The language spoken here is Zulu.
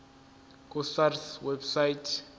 ku sars website